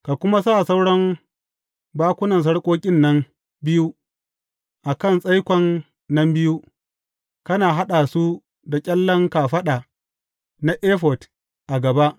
Ka kuma sa sauran bakunan sarƙoƙin nan biyu a kan tsaikon nan biyu, kana haɗa su da ƙyallen kafaɗa na efod a gaba.